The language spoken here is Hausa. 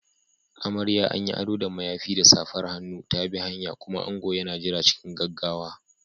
Amarya, an yi ado da mayafi da safar hannu, ta bi hanya, kuma ango yana jira cikin gaggawa.